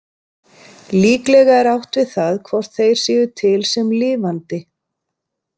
Líklega er átt við það hvort þeir séu til sem lifandi.